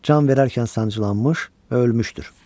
Can verərkən sancılanmış və ölmüşdür.